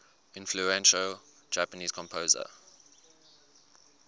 influential japanese composer